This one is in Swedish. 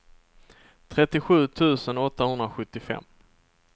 trettiosju tusen åttahundrasjuttiofem